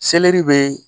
Selɛri bɛ